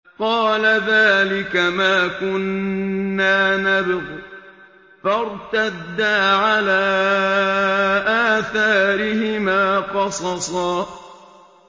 قَالَ ذَٰلِكَ مَا كُنَّا نَبْغِ ۚ فَارْتَدَّا عَلَىٰ آثَارِهِمَا قَصَصًا